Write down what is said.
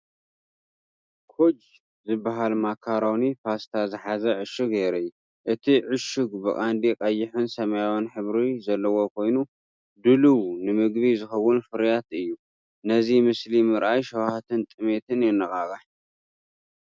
ኮጅ ዝበሃል ማካሮኒ ፓስታ ዝሓዘ ዕሹግ የርኢ። እቲ ዕሹግ ብቐንዱ ቀይሕን ሰማያውን ሕብሪ ዘለዎ ኮይኑ፡ ድሉው ንምግቢ ዝኸውን ፍርያት እዩ። ነዚ ምስሊ ምርኣይ ሸውሃትን ጥሜትን የነቓቕሕ።